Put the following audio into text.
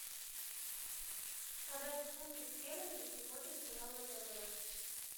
продать фунты стерлинги сегодня цена втб